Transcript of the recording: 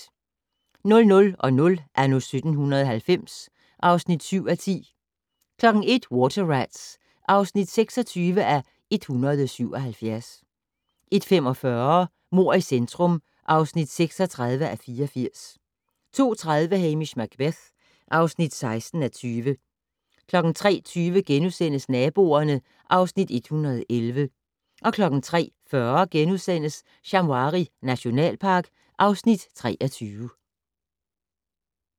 00:00: Anno 1790 (7:10) 01:00: Water Rats (26:177) 01:45: Mord i centrum (36:84) 02:30: Hamish Macbeth (16:20) 03:20: Naboerne (Afs. 111)* 03:40: Shamwari nationalpark (Afs. 23)*